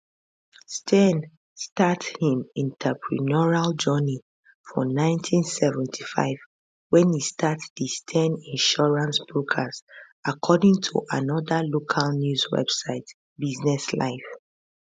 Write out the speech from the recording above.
steyn start im entrepreneurial journey for 1975 wen e start di steyn insurance brokers according to another local news website business live